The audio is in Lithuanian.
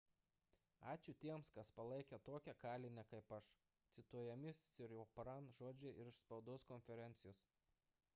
ačiū tiems kas palaikė tokią kalinę kaip aš – cituojami siriporn žodžiai iš spaudos konferencijos